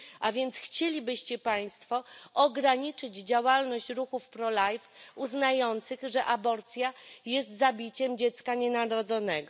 A więc chcielibyście państwo ograniczyć działalność ruchów prolife uznających, że aborcja jest zabiciem dziecka nienarodzonego.